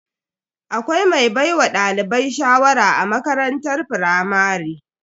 Akwai mai baiwa dalibai shawara a makarantar firamare.